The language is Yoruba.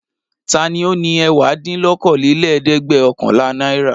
Ta ni ó ní ẹ̀wádínlókòólélẹ́ẹ̀dẹ́gbẹ̀ọ̀kànlá náírà?